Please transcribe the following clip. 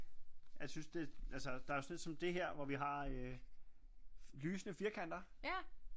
Jeg synes det altså der sådan et som det her hvor vi har øh lysende firkanter